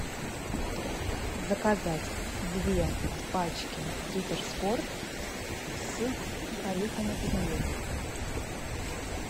заказать две пачки риттер спорт с орехами и нугой